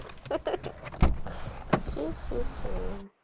ха-ха хе-хе-хе